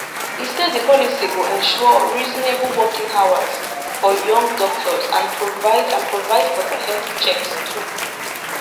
e say di policy go ensure reasonable working hours for young doctors and provide and provide for dia health checks too